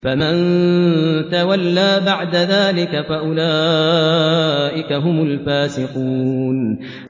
فَمَن تَوَلَّىٰ بَعْدَ ذَٰلِكَ فَأُولَٰئِكَ هُمُ الْفَاسِقُونَ